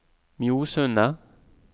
Mjosundet